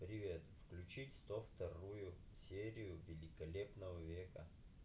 привет включить сто вторую серию великолепного века